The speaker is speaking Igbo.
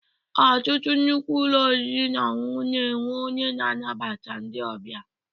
Ọtụtụ nnukwu ụlọ oriri na ọṅụṅụ na-enwe onye na-anabata ndị ọbịa.